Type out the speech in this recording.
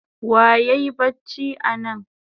Wa yayi bacci anan?